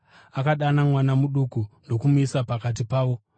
Akadana mwana muduku ndokumumisa pakati pavo.